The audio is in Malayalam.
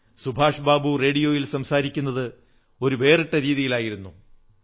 സുഭാഷ് ബാബു റേഡിയോയിൽ സംസാരിക്കുന്നത് ഒരു വേറിട്ട രീതിയിലായിരുന്നു